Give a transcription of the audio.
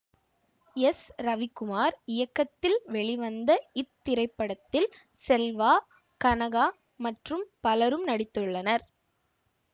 S Ravikumar இயக்கத்தில் வெளிவந்த இத்திரைப்படத்தில் செல்வா கனகா மற்றும் பலரும் நடித்துள்ளனர்